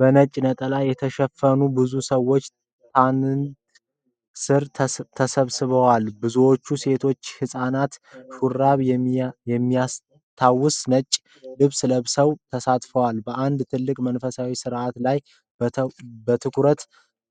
በነጭ ነጠላ የተሸፈኑ ብዙ ሰዎች ታንት ስር ተሰብስበዋል። አብዛኞቹ ሴቶችና ህጻናት ሹራብ የሚያስታውስ ነጭ ልብስ ለብሰዋል። ተሳታፊዎቹ በአንድ ትልቅ መንፈሳዊ ሥነ-ሥርዓት ላይ በትኩረት